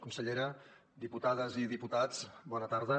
consellera diputades i diputats bona tarda